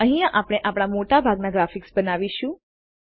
અહીંયા આપણે આપણા મોટા ભાગના ગ્રાફિક્સ બનાવીશું